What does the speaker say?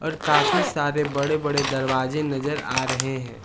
और काफी सारे बड़े बड़े दरवाजे नजर आ रहे हैं।